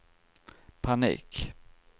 panik